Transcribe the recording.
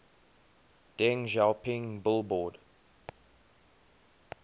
deng xiaoping billboard